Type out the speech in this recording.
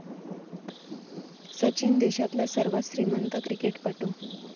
सचिन देशातला सर्वात श्रीमंत क्रिकेटपटू